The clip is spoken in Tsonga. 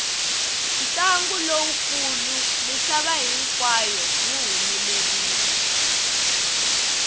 ntlangu lowu kulu misava hinkwayo wu humelerile